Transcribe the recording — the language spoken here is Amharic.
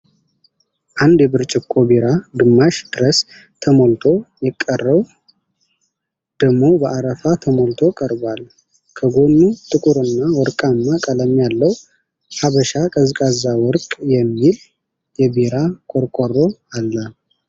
አንድ የብርጭቆ ቢራ ግማሽ ድረስ ተሞልቶ የቀረው ደሞ በአረፋ ተሞልቶ ቀርቧል። ከጎኑ ጥቁርና ወርቃማ ቀለም ያለው "ሀበሻ ቀዝቃዛ ወርቅ" የሚል የቢራ ቆርቆሮ አለ።